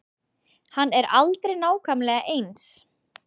Hann er aldrei nákvæmlega eins.